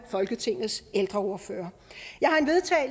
folketingets ældreordførere